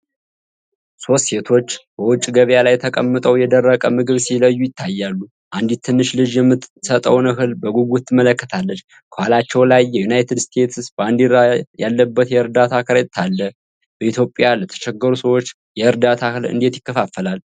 ሶስት ሴቶች በውጭ ገበያ ላይ ተቀምጠው የደረቀ ምግብ ሲለዩ ይታያሉ። አንዲት ትንሽ ልጅ የምትሰጠውን እህል በጉጉት ትመለከታለች። ከኋላቸው ላይ የዩናይትድ ስቴትስ ባንዲራ ያለበት የእርዳታ ከረጢት አለ። በኢትዮጵያ ለተቸገሩ ሰዎች የእርዳታ እህል እንዴት ይከፋፈላል?